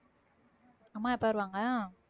அம்மா எப்ப வருவாங்க